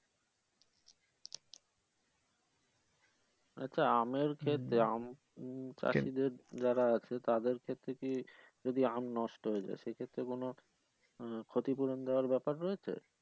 আচ্ছা আমের আম চাষীদের যারা আছে তাদের ক্ষেত্রে কি যদি আম নষ্ট হয়ে যায় সেইক্ষেত্রে কোন উম ক্ষতিপূরণ দেওয়ার ব্যাপার রয়েছে?